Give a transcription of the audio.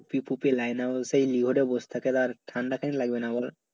টুপি ফুপি line এ লিওরে বসে থাকে ঠাণ্ডা কেন লাগবে না বলো